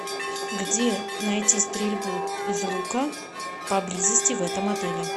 где найти стрельбу из лука поблизости в этом отеле